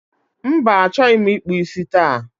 Mba, achọghị ịkpụ isi taa